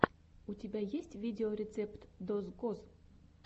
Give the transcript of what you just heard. у тебя есть видеорецепт дозкоз